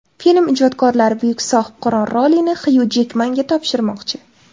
Film ijodkorlari buyuk Sohibqiron rolini Xyu Jekmanga topshirmoqchi.